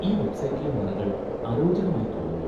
ഈ വെബ്സൈറ്റിലെ നിറങ്ങൾ അരോചകമായി തോന്നുന്നു.